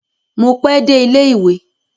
Mo pe dé ilẹ ìwé.